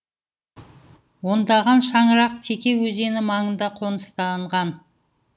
ондаған шаңырақ теке өзені маңында қоныстанған